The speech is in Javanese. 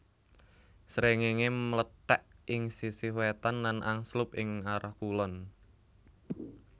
Srengéngé mlethèk ing sisih wétan lan angslup ing arah kulon